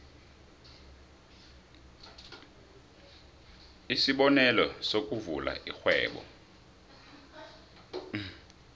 isibonelo sokuvula irhwebo